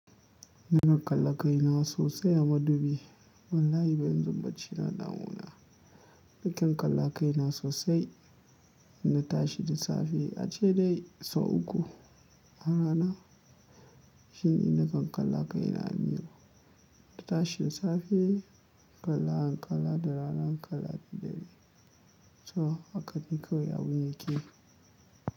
Nakan kala kai na sosai a madubi. Wallahi ba yanzu bacci na ɗawona. Nakan kala kai na sosai, ina tashi da safe ace dai sau uku a rana. Shi ne nakan kala kai na a miro? Ina tashi safe in kala in kala da rana in kala dadare. To hakane kawai abun kawai yake.